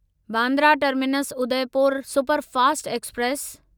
Bandra terminus Udaipur superfast express